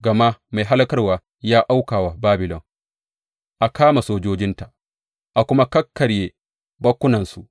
Gama mai hallakarwa ya auka wa Babilon, a kama sojojinta, a kuma kakkarya bakkunansu.